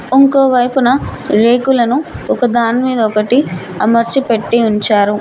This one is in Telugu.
ఇంకోవైపున రేకులను ఒకదానిమీద ఒకటి అమర్చి పెట్టి ఉంచారు.